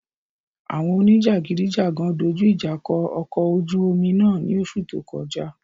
Awọn onijagidijagan doju ija kọ ọkọ ojú omi náà ni oṣu to kọja